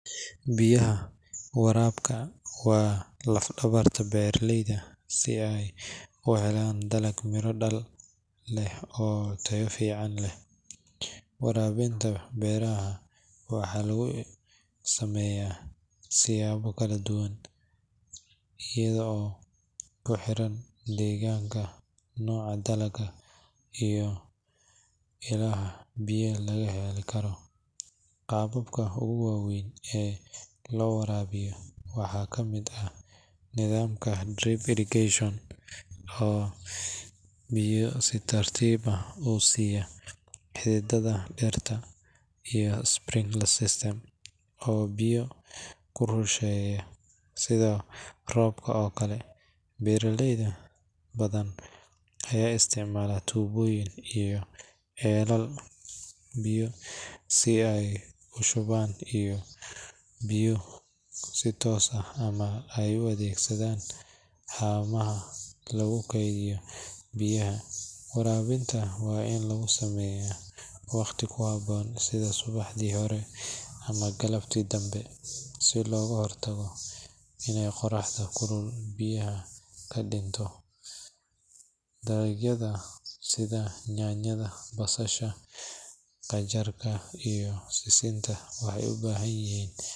Biyaha warabka waa laf dhabarka beeraleyda si ay u helan dalag miro dhal let oo tayo fican leh, waraabinta beeraha waxa lugu sameeya siyaba kala duban ayad oo kuxiran deegganka, noca dalaga iyo hilaha biyaha laga heli karo, qababka ogu waweyn ee loo warabiyo waxaa kamid eh nidamka drip irrigation oo biyo si tartib ah usiyaa xididada dhirta iyo sprinkler system oo biyo kurusheeya sida robka oo kale, beeraleydan aya isticmaala tubooyin iyo ceelal biyo si ay ushuban biyo iyo si toos ah ama ay u addegsadan hamaha lugu keydiyo biyaha, warabinta waa in lugu sameeya waqti kuhaboon sida subaxdii hore ama galabtii dambe si loga hortago inay qoraxdo kulul biyaha kadhinto, dalagyada sida nyaanyada, basasha, qajarka iyo sisinta waxay u bahan yihiin biyo badan